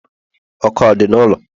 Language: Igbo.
ọkụ ọ dị n'ụlọ?